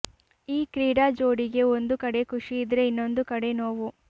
ಈ ಕ್ರೀಡಾ ಜೋಡಿಗೆ ಒಂದು ಕಡೆ ಖುಷಿಯಿದ್ರೆ ಇನ್ನೊಂದು ಕಡೆ ನೋವು